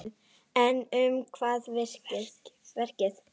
En um hvað er verkið?